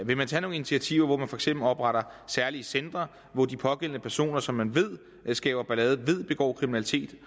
vil man tage nogle initiativer hvor man for eksempel opretter særlige centre hvor de pågældende personer som man ved skaber ballade ved begår kriminalitet